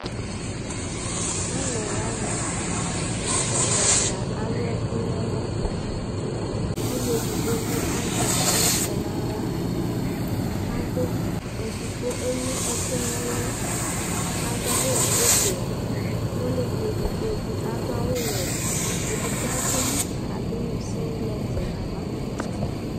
Alʋɛdɩnɩ ya nʋ ɛvɛ Ɛfʋ yɛ lɛ ɔdzanɩ bʋa kʋ alʋ keyi ɛkʋ ɛlʋ-ɛlʋ Alʋlʋ wanɩ abʋ Itsu dɩnɩ kɔ nʋ ɛfʋ yɛ Asʋɩa ɛkʋɛdɩnɩ bɩ nʋ ɛfʋ yɛ Ɛkʋtɛviava dɩnɩ bɩ ma nʋ ɛfʋ yɛ kʋ alʋ wanɩ tsue yɛ